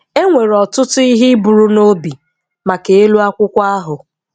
E nwere ọtụtụ ihe iburu n'obi maka elụ akwụkwo ahụ.